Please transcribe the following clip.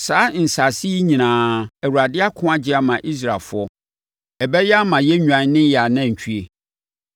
Saa nsase yi nyinaa, Awurade ako, agye ama Israelfoɔ. Ɛbɛyɛ ama yɛn nnwan ne yɛn anantwie.